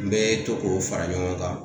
N be to k'o fara ɲɔgɔn kan.